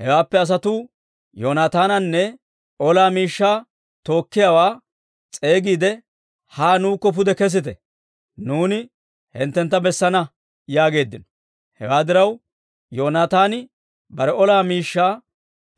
Hewaappe asatuu Yoonaataananne ola miishshaa tookkiyaawaa s'eegiide, «Haa nuukko pude kesite; nuuni hinttentta bessana» yaageeddino. Hewaa diraw, Yoonaataani bare ola miishshaa